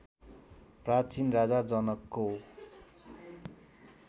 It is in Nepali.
प्राचीन राजा जनकको